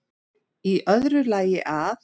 Í öðru lagi að